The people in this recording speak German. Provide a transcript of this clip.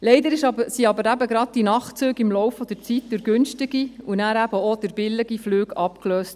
Leider wurden aber gerade die Nachtzüge im Laufe der Zeit durch günstige und dann auch durch billige Flüge abgelöst.